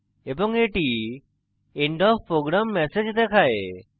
এবং এটি end of program message দেখায়